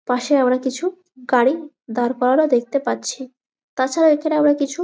পাশে আবার কিছু গাড়ি দাঁড় করানো দেখতে পাচ্ছি তাছাড়া এখানে আমরা কিছু--